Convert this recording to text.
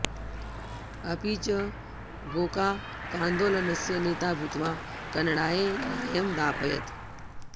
अपि च गोकाकान्दोलनस्य नेता भूत्वा कन्नडाय न्यायं दापयत्